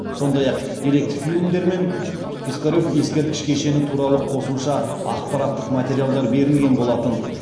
сондай ақ деректі фильмдер мен пискарев ескерткіш кешені туралы қосымша ақпараттық материалдар берілген болатын